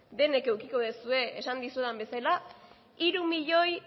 denek edukiko duzue esan dizuedan bezala hiru milioi